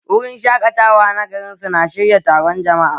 Wurin shaƙatawa na gari su na shirya taron jama'a